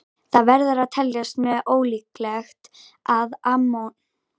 Það verður að teljast mjög ólíklegt að ammonítar finnist í jarðlögum á Íslandi.